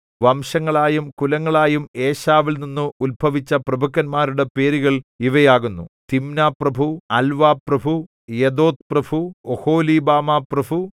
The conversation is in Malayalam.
വംശങ്ങളായും കുലങ്ങളായും ഏശാവിൽനിന്ന് ഉത്ഭവിച്ച പ്രഭുക്കന്മാരുടെ പേരുകൾ ഇവയാകുന്നു തിമ്നാപ്രഭു അൽവാപ്രഭു യെഥേത്ത്പ്രഭു ഒഹൊലീബാമാപ്രഭു